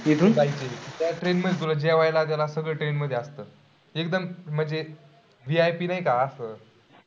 त्या train मध्ये जेवायला सगळं train मध्ये असतं, एकदम म्हणजे VIP नाही का असं?